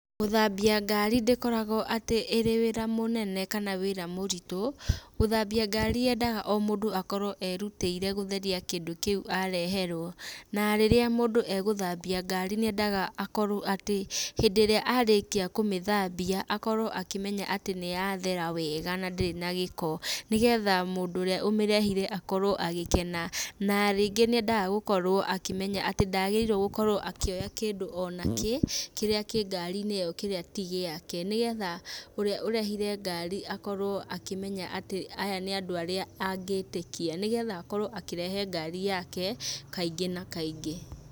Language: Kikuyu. Gũthambia ngari ndĩkoragwo atĩ ĩrĩ wĩra mũnene kana wĩra mũritũ, gũthambia ngari yendaga o mũndũ akorwo erutĩire gũtheria kindũ kĩũ areheirwo. Na rĩrĩa mũndũ egũthambia ngari nĩendaga akorwo atĩ hĩndĩ ĩrĩa arĩkia kũmĩthambia, akorwo akĩmenya atĩ nĩyathera wega na ndĩrĩ na gĩko, nĩgetha mũndũ ũrĩa ũmĩrehire akorwo agĩkena, na rĩngĩ nĩendaga gũkorwo akĩmenya atĩ ndagĩrĩirwo gũkorwo akĩoya kĩndũ ona kĩ, kĩrĩa kĩngarinĩ ĩyo kĩrĩa ti gĩake, nĩgetha ũrĩa ũrehire ngari akorwo akĩmenya atĩ aya nĩ andũ arĩa angĩtĩkia, nĩgetha akorwo akĩrehe ngari yake, kaingĩ na kaingĩ.